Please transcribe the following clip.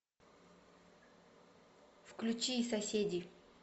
включи соседи